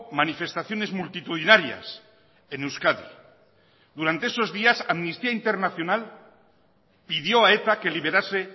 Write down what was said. manifestaciones multitudinarias en euskadi durante esos días amnistía internacional pidió a eta que liberase